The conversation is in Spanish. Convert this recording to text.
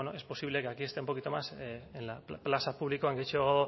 bueno es posible que aquí esté un poquito más en plaza publikoan gehiago